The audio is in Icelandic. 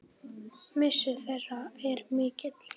Missir þeirra er mikill.